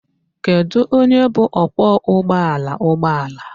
Kedu onye bụ ọkwọụgbọala ụgbọala?